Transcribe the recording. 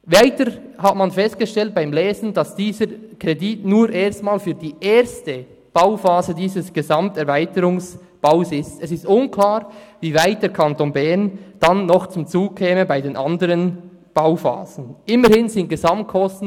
Weiter hat man beim Lesen festgestellt, dass dieser Kredit vorerst nur für die erste Bauphase dieses Gesamterweiterungsbaus vorgesehen ist.